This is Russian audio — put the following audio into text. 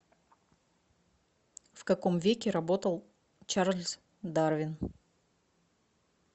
в каком веке работал чарльз дарвин